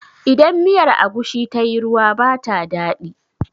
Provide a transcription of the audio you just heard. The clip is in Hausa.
Idan miyar agushi tayi ruwa ba ta daɗi